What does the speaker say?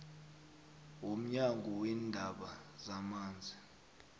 womnyango weendaba zamanzi